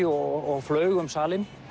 og flaug um salinn